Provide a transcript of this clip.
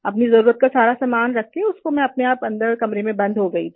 अपनी जरुरत का सारा सामान रख कर उसको मैं अपने आप अन्दर कमरे में बंद हो गई थी